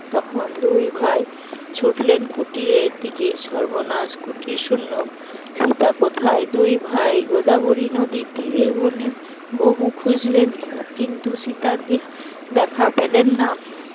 তখন দুই ভাই ছুটলেন কুটিরের দিকে, সর্বনাশ কুটির শুন্য সীতা কোথায়? দুই ভাই গোদাবরী নদীর তীরে বনে বহু খুঁজলেন কিন্তু সীতার দে দেখা পেলেন না